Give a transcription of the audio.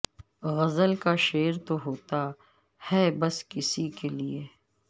غزل کا شعر تو ہوتا ہے بس کسی کے لیے